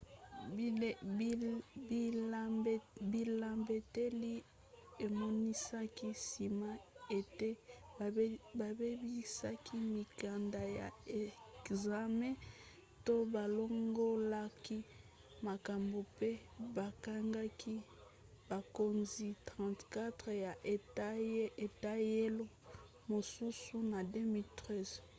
bilembeteli emonisaki nsima ete babebisaki mikanda ya ekzame to balongolaki makambo mpe bakangaki bakonzi 34 ya eteyelo mosusu na 2013